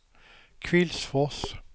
Kvillsfors